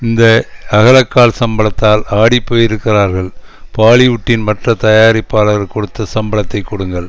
இந்த அகலக்கால் சம்பளத்தால் ஆடி போயிருக்கிறார்கள் பாலிவுட்டின் மற்ற தயாரிப்பாளர்கள் கொடுத்த சம்பளத்தை கொடுங்கள்